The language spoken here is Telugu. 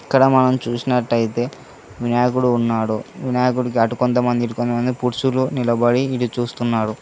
ఇక్కడ మనం చూసినట్టయితే వినాయకుడు ఉన్నాడు వినాయకుడికి అటు కొంతమంది ఇటు కొంతమంది పురుషులు నిలబడి ఇది చూస్తున్నారు.